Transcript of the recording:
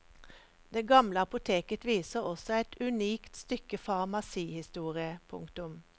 Det gamle apoteket viser også et unikt stykke farmasihistorie. punktum